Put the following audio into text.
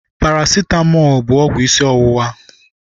Paracitamọl bụ ọgwụ isi ọwụwa.